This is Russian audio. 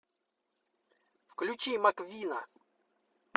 включи маквина